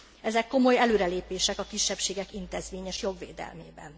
Ezek komoly előrelépések a kisebbségek intézményes jogvédelmében.